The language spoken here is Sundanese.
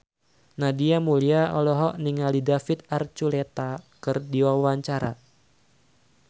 Nadia Mulya olohok ningali David Archuletta keur diwawancara